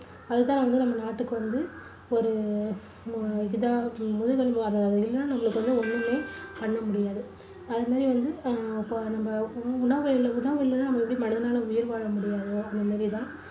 அதுதான் வந்து நம்ம நாட்டுக்கு வந்து ஒரு அஹ் முதுகெலும்பு இல்லனா நம்மளுக்கு வந்து ஒண்ணுமே பண்ண முடியாது அதுமாதிரி வந்து அஹ் இப்போ நம்ம உணவு இல்லைனா உணவு இல்லைனா மனிதனால உயிர் வாழ முடியாதோ அந்த மாதிரிதான்